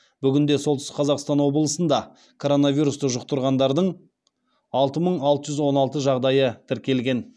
бүгінде солтүстік қазақстан облысында коронавирусты жұқтырғандардың алты мың алты жүз он алты жағдайы тіркелген